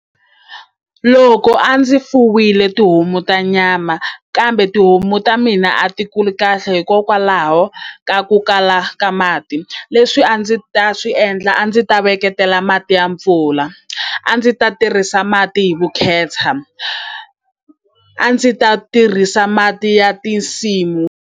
Loko a ndzi fuwile tihomu ta nyama kambe tihomu ta mina a ti kuli kahle hikokwalaho ka ku kala ka mati leswi a ndzi ta swi endla a ndzi ta veketela mati ya mpfula a ndzi ta tirhisa mati hi vukheta a ndzi ta tirhisa mati ya tinsimu.